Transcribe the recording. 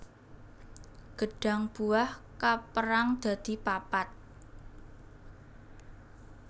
Gêdhang buah kapérang dadi papat